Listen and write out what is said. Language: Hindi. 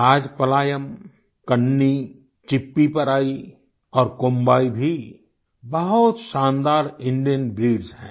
राजापलायम कन्नी चिप्पीपराई और कोम्बाई भी बहुत शानदार इंडियन ब्रीड्स हैं